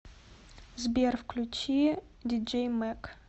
сбер включи диджей мэг